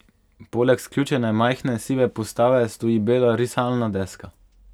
Poleg sključene, majhne, sive postave stoji bela risalna deska.